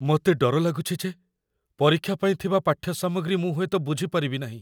ମୋତେ ଡର ଲାଗୁଛି ଯେ ପରୀକ୍ଷା ପାଇଁ ଥିବା ପାଠ୍ୟସାମଗ୍ରୀ ମୁଁ ହୁଏତ ବୁଝି ପାରିବିନାହିଁ।